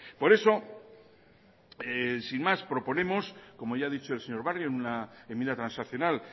por eso sin más proponemos como ya ha dicho el señor barrio en una enmienda transaccional